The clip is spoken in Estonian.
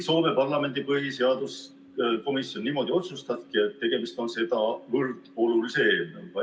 Soome parlamendi põhiseaduskomisjon otsustas, et tegemist on sedavõrd olulise eelnõuga.